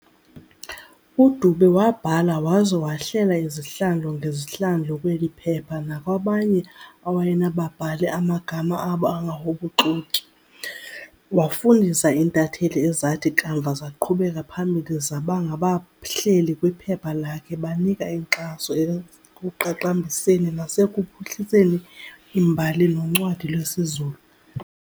UDube wabhala waza wahlela izihlandlo ngezihlandlo kweli phepha nakwamanye awayenababhali amagama abo angowobuxoki. Wafundisa iintatheli ezathi kamva zaqhubela phambili zabangabahleli kwiphepha lakhe banika inkxaso ekuqaqambiseni nasekuphuhliseni imbali noncwadi lwesiZulu.